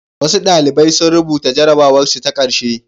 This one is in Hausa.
Wasu ɗalibai sun rubuta jarrabwarsu ta ƙarshe.